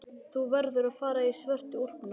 Þú verður að fara í svörtu úlpuna.